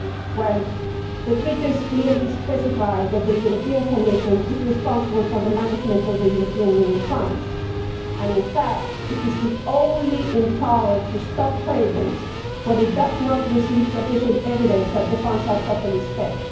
Well, the treaties clearly specify that the European Commission is responsible for the management of the European Union funds, and in fact, it is the only body empowered to stop payments when it does not receive sufficient evidence that the funds are properly spent.